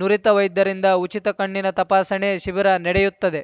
ನುರಿತ ವೈದ್ಯರಿಂದ ಉಚಿತ ಕಣ್ಣಿನ ತಪಾಸಣೆ ಶಿಬಿರ ನಡೆಯುತ್ತದೆ